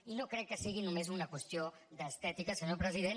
i no crec que sigui només una qüestió d’estètica senyor president